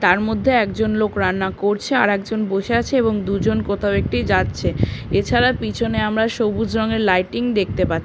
তার মধ্যে একজন লোক রান্না করছে আর একজন বসে আছে এবং দুজন কোথাও একটি যাচ্ছে এছাড়া পিছনে আমরা সবুজ রঙের লাইটিং দেখতে পা--